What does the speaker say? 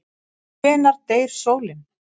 Hvenær deyr sólin?